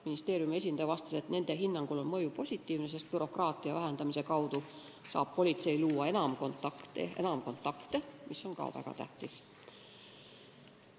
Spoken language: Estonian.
Ministeeriumi esindaja vastas, et nende hinnangul on mõju positiivne, sest tänu bürokraatia vähendamisele saab politsei enam kontakte luua, mis on väga tähtis.